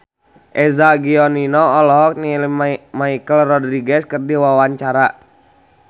Eza Gionino olohok ningali Michelle Rodriguez keur diwawancara